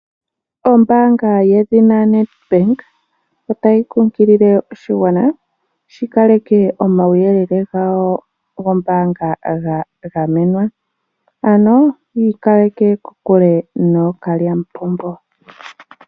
Ombaanga yedhina Nedbank otayi kunkilile oshigwana, opo shi kaleke omauyelele gawo gombaanga ga gamenwa, ano yi ikaleka kokule nookalyamupombo.